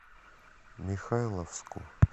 михайловску